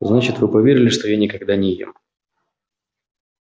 значит вы поверили что я никогда не ем